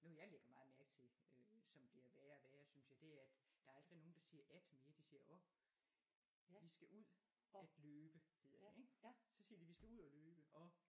Noget jeg lægger meget mærke til øh som bliver værre og værre synes det er at der er aldrig nogen der siger at mere de siger og de skal ud at løbe hedder det så siger de vi skal ud og løbe og